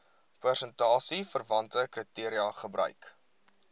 prestasieverwante kriteria gebruik